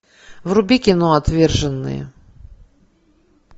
вруби кино отверженные